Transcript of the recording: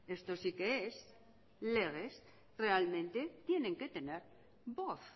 esto sí que es legem realmente tienen que tener voz